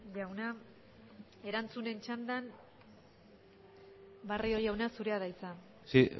jauna erantzunen txandan barrio jauna zurea da hitza sí